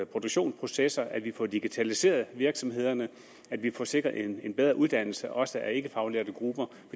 produktionsprocesser at vi får digitaliseret virksomhederne og at vi får sikret en en bedre uddannelse også af ikkefaglærte grupper